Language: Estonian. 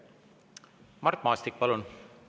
Mart Maastik, palun!